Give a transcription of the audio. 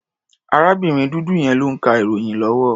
Arábìnrin dúdú yẹn ló ń ka ìròyìn lọ́wọ́.